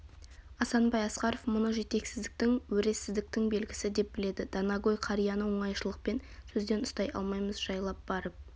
асанбай асқаров мұны жетесіздіктің өресіздіктің белгісі деп біледі данагөй қарияны оңайшлықпен сөзден ұстай алмаймыз жайлап барып